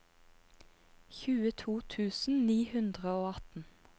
tjueto tusen ni hundre og atten